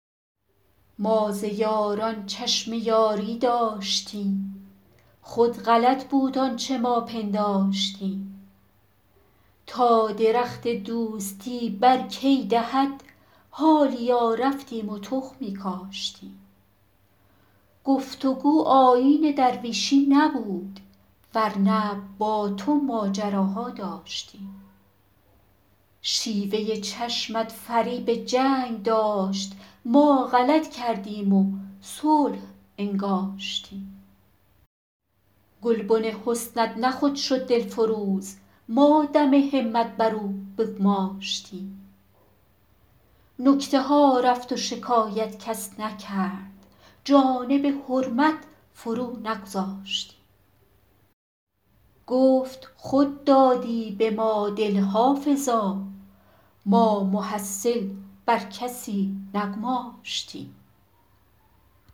ما ز یاران چشم یاری داشتیم خود غلط بود آنچه ما پنداشتیم تا درخت دوستی بر کی دهد حالیا رفتیم و تخمی کاشتیم گفت و گو آیین درویشی نبود ور نه با تو ماجراها داشتیم شیوه چشمت فریب جنگ داشت ما غلط کردیم و صلح انگاشتیم گلبن حسنت نه خود شد دلفروز ما دم همت بر او بگماشتیم نکته ها رفت و شکایت کس نکرد جانب حرمت فرو نگذاشتیم گفت خود دادی به ما دل حافظا ما محصل بر کسی نگماشتیم